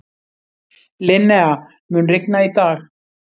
Linnea, mun rigna í dag?